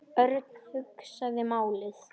Örn hugsaði málið.